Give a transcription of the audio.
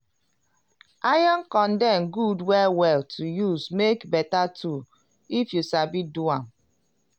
iron condem good well well to use make beta tool if you sabi do am.